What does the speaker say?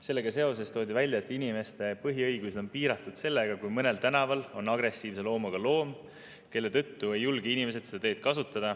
Sellega seoses toodi välja, et inimeste põhiõigused on piiratud, kui mõnel tänaval on agressiivse loomuga loom, kelle tõttu ei julge inimesed seda teed kasutada.